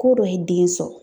Ko dɔ ye den sɔrɔ